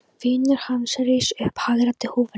Vinur hans reis upp og hagræddi húfunni.